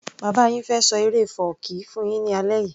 Bàbá yin fẹ́ ṣọ eré fọ́ọ̀kí fún yín ní alẹ́ yìí